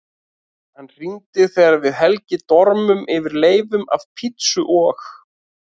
Hann hringir þegar við Helgi dormum yfir leifum af pizzu og